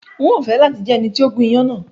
N o fẹ lati jẹ ẹni ti o gún iyán náà